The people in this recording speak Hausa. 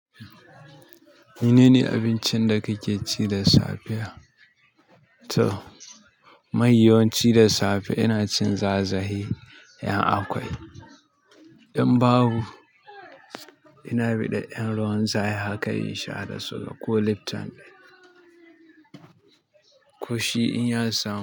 Menene abincin da kake ci da safiya tom mahi yawanci da safe ina cin zazaye in akwai in babu, ina bidar 'yan ruwan zafi haka in sha da su da ko Lipton. Ko shi in ya samu.